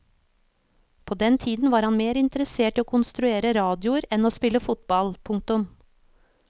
På den tiden var han mer interessert i å konstruere radioer enn å spille fotball. punktum